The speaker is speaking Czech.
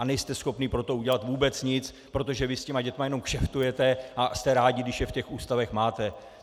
A nejste schopni pro to udělat vůbec nic, protože vy s těmi dětmi jenom kšeftujete a jste rádi, když je v těch ústavech máte.